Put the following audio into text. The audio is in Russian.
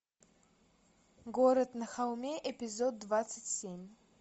город на холме эпизод двадцать семь